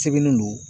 Sɛbɛnnen don